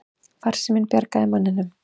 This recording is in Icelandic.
Farsíminn bjargaði manninum